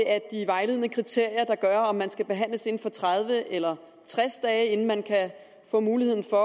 af de vejledende kriterier der er for om man skal behandles inden for tredive eller tres dage inden man kan få mulighed for